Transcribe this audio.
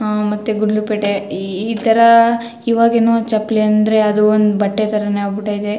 ಅಹ್ ಮತ್ತೆ ಗುಂಡ್ಲಪೇಟೆ ಈ ಇತರ ಈವಾಗಿನೋ ಚಪ್ಲಿ ಅಂದ್ರೆ ಅದು ಒಂದು ಬಟ್ಟೆ ತರನೆ ಆಗಬಿಟ್ಟದೆ .